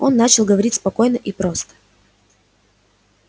он начал говорить спокойно и прост